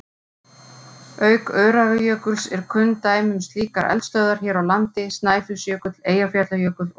Auk Öræfajökuls eru kunn dæmi um slíkar eldstöðvar hér á landi Snæfellsjökull, Eyjafjallajökull og Snæfell.